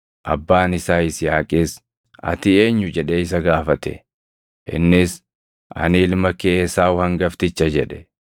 Abbaan isaa Yisihaaqis, “Ati eenyu?” jedhee isa gaafate. Innis, “Ani ilma kee Esaawu hangafticha” jedhe.